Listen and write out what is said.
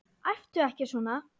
Æptu ekki svona!